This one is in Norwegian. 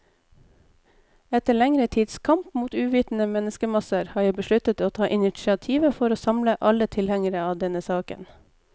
Etter lengre tids kamp mot uvitende menneskemasser, har jeg besluttet å ta initiativet for å samle alle tilhengere av denne saken.